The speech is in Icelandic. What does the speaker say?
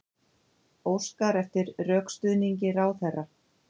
Óskar eftir rökstuðningi ráðherra